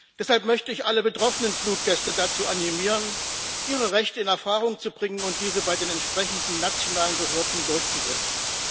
Deshalb möchte ich alle betroffenen Fluggäste dazu animieren, ihre Rechte in Erfahrung zu bringen und diese bei den entsprechenden nationalen Behörden durchzusetzen.